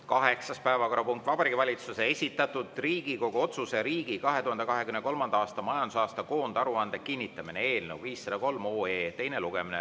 Kaheksas päevakorrapunkt on Vabariigi Valitsuse esitatud Riigikogu otsuse "Riigi 2023. aasta majandusaasta koondaruande kinnitamine" eelnõu 503 teine lugemine.